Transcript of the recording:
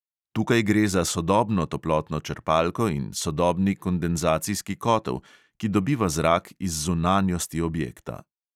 Tukaj gre za sodobno toplotno črpalko in sodobni kondenzacijski kotel, ki dobiva zrak iz zunanjosti objekta.